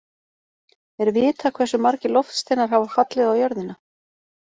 Er vitað hversu margir loftsteinar hafa fallið á jörðina?